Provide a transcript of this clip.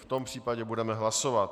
V tom případě budeme hlasovat.